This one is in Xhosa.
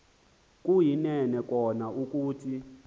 kuyinene kona ukuthi